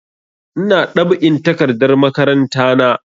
Ina dab'in takardar makaranta na